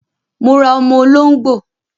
Mo ra ọmọ olóngbò